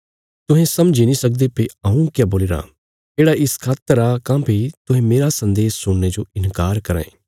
तुहें समझी नीं सकदे भई हऊँ क्या बोलीराँ येढ़ा इस खातर आ काँह्भई तुहें मेरा सन्देश सुणने जो इन्कार कराँ ये